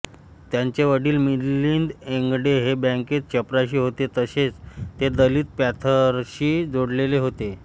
त्यांचे वडील मिलिंद एंगडे हे बँकेत चपराशी होते तसेच ते दलित पँथरशी जोडलेले होते